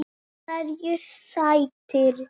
Hverju sætir?